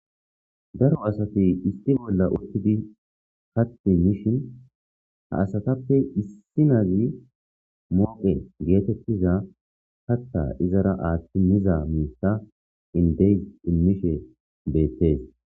daro asati isti bolla urtidi katti mishin ha asatappe issinazi mooqe geetettiza hatta izara aaththi miza miita indeys immishe beettees